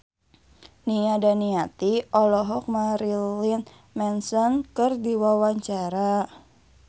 Nia Daniati olohok ningali Marilyn Manson keur diwawancara